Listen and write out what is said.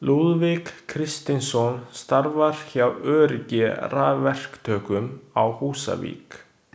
Lúðvík Kristinsson starfar hjá Öryggi rafverktökum á Húsavík.